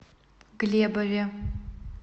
глебове